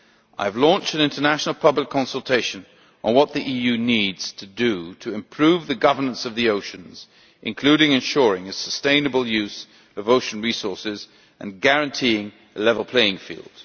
I have launched an international public consultation on what the EU needs to do to improve the governance of the oceans, including ensuring a sustainable use of ocean resources and guaranteeing a level playing field.